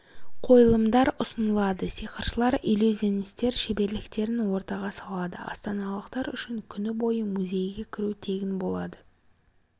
қойылымдар ұсынылады сиқыршылар иллюзионистер шеберліктерін ортаға салады астаналықтар үшін күні бойы музейге кіру тегін болады